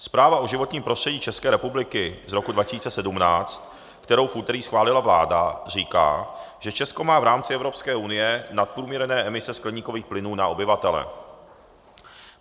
Zpráva o životním prostředí České republiky z roku 2017, kterou v úterý schválila vláda, říká, že Česko má v rámci Evropské unie nadprůměrné emise skleníkových plynů na obyvatele.